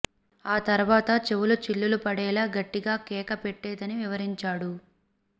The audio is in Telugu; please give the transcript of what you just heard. ఆ తర్వాత చెవులు చిల్లులు పడేలా గట్టిగా కేక పెట్టేదని వివరించాడు